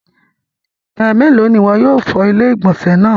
Ẹmẹlo ni iwọ yóò fọ̀ ilẹ̀-igbọnsẹ̀ naa?